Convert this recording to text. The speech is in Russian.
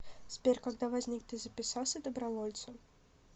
сбер когда возник ты записался добровольцем